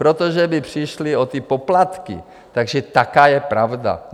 Protože by přišli o ty poplatky, takže taková je pravda.